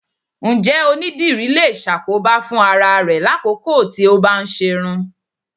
Ǹjẹ́ onídìrí lè ṣàkóbá fún ara rẹ lákòókò tí ó bá ń ṣerún?